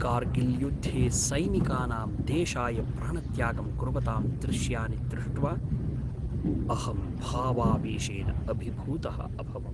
कार्गिल्युद्धे सैनिकानां देशाय प्राणत्यागं कुर्वतां दृश्यानि दृष्ट्वा अहं भावावेशेन अभिभूतः अभवम्।